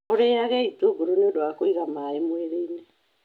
Ũrĩage itũngũrũ nĩ ũndũ wa kũiga maĩ mwĩrĩ-inĩ.